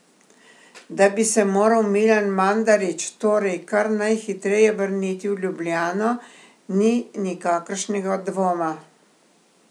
Da bi se moral Milan Mandarić torej kar najhitreje vrniti v Ljubljano, ni nikakršnega dvoma.